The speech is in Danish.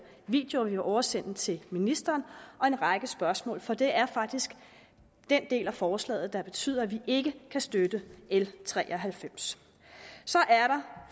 videoer som vi vil oversende til ministeren og en række spørgsmål for det er faktisk den del af forslaget der betyder at vi ikke kan støtte l tre og halvfems så er der